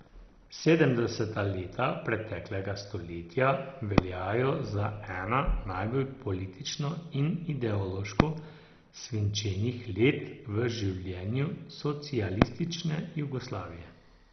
Sedemdeseta leta preteklega stoletja veljajo za ena najbolj politično in ideološko svinčenih let v življenju socialistične Jugoslavije.